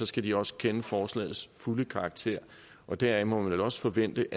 skal de også kende forslagets fulde karakter deraf må det vel også forventes